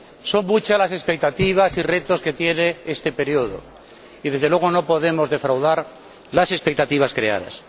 Son muchas las expectativas y muchos los retos que tiene este periodo y, desde luego, no podemos defraudar las expectativas creadas.